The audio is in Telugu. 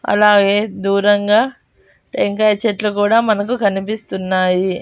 అలాగే దూరంగా టెంకాయి చెట్లు కూడా మనకు కనిపిస్తున్నాయి.